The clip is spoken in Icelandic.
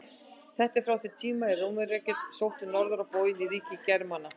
Þetta er frá þeim tíma er Rómverjar sóttu norður á bóginn í ríki Germana.